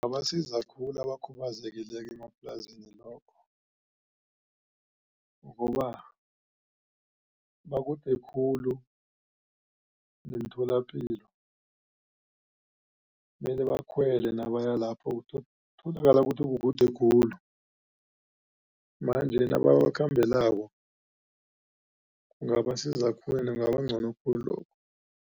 Kungabasiza khulu abakhubazekileko emaplazini ngoba bakude khulu neemtholapilo. Mele bakhwele nabaya lapho kutholakala kuthi kukude khulu. Manje nababakhambelako kungabasiza khulu kungaba ngcono khulu lokho.